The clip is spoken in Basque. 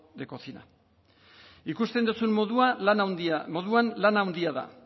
de cocina ikusten duzun moduan lan handia da